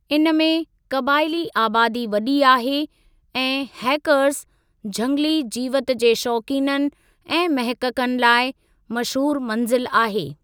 इन में क़बाइली आबादी वॾी आहे ऐं हैकर्ज़, झंगली जीवति जे शौक़ीननि ऐं महक़क़न लाइ मशहूरु मंज़िल आहे।